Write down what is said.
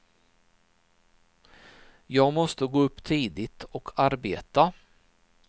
Jag måste gå upp tidigt och arbeta.